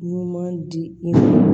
Ɲuman di i ma